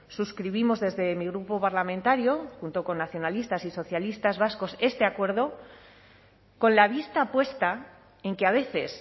suscribimos desde mi grupo parlamentario junto con nacionalistas y socialistas vascos este acuerdo con la vista puesta en que a veces